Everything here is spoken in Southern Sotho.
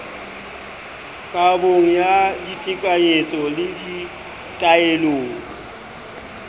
kabong ya ditekanyetso le ditaelong